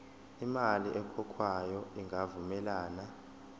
imali ekhokhwayo ingavumelani